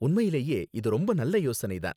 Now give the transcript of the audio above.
உண்மையிலேயே இது ரொம்ப நல்ல யோசனை தான்